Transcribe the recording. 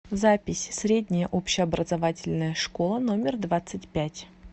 запись средняя общеобразовательная школа номер двадцать пять